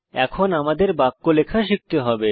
এখন আমাদের বাক্য লেখা শিখতে হবে